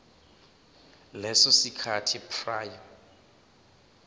leso sikhathi prior